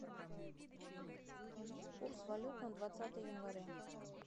курс валют на двадцатое января